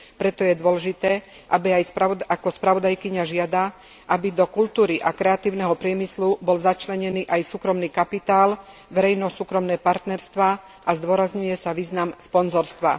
Preto je dôležité, ako žiada aj spravodajkyňa, aby do kultúry a kreatívneho priemyslu bol začlenený aj súkromný kapitál, verejno súkromné partnerstvá a zdôrazňuje sa význam sponzorstva.